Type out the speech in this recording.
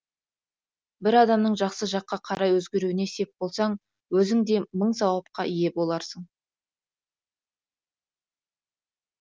бір адамның жақсы жаққа қарай өзгеруіне сеп болсаң өзің де мың сауапқа ие боларсың